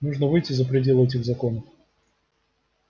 нужно выйти за пределы этих законов